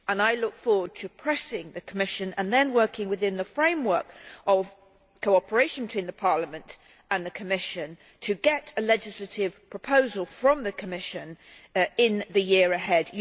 I look forward to pressing the Commission and then working within the framework of cooperation between Parliament and the Commission to get a legislative proposal from the Commission in the year ahead.